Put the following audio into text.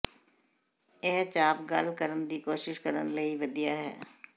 ਇਹ ਚਾਪ ਗੱਲ ਕਰਨ ਦੀ ਕੋਸ਼ਿਸ਼ ਕਰਨ ਲਈ ਵਧੀਆ ਹੈ